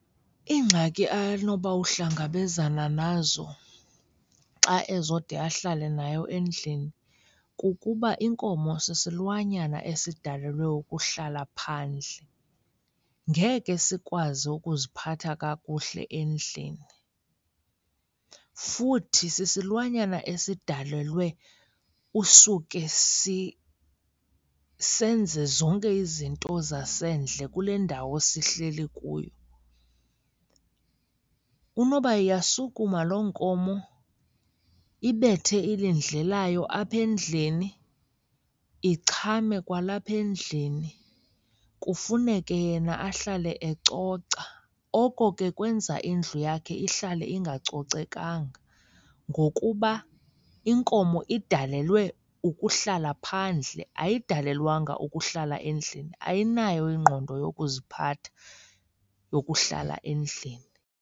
Iingxaki anoba uhlangabezana nazo xa ezode ahlale nayo endlini kukuba inkomo sisilwanyana esidalelwe ukuhlala phandle, ngeke sikwazi ukuziphatha kakuhle endlini. Futhi sisilwanyana esidalelwe usuke senze zonke izinto zasendle kule ndawo sihleli kuyo. Unoba iyasukuma loo nkomo ibethe ilindle layo apha endlini, ichame kwalapha endlini kufuneke yena ahlale ecoca. Oko ke kwenza indlu yakhe ihlale ingacocekanga. Ngokuba inkomo idalelwe ukuhlala phandle ayidalelwanga ukuhlala endlini, ayinayo ingqondo yokuziphatha yokuhlala endlini.